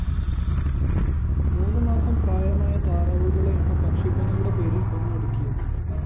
മൂന്നു മാസം പ്രായമായ താറാവുകളെയാണ് പക്ഷിപ്പനിയുടെ പേരില്‍ കൊന്നൊടുക്കിയത്